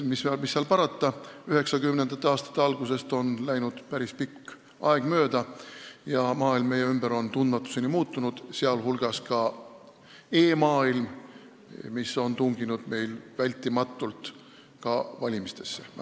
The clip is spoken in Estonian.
Mis parata, 1990. aastate algusest on läinud päris pikk aeg mööda ja maailm meie ümber on tundmatuseni muutunud, sh e-maailm, mis on tunginud vältimatult ka valimistesse.